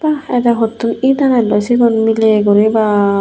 ah ete huttun it anelloi sigon miley guri baa.